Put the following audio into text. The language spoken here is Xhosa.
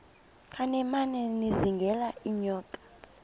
kancinane izingela iinyoka